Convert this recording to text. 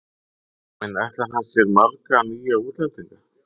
En ætlar hann sér marga nýja útlendinga?